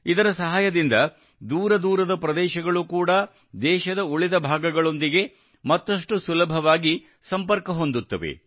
ಇದರ ಸಹಾಯದಿಂದ ದೂರ ದೂರದ ಪ್ರದೇಶಗಳು ಕೂಡಾ ದೇಶದ ಉಳಿದ ಭಾಗಗಳೊಂದಿಗೆ ಮತ್ತಷ್ಟು ಸುಲಭವಾಗಿ ಸಂಪರ್ಕ ಹೊಂದುತ್ತವೆ